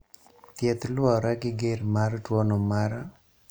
Thieth luwore gi ger mar tuono mar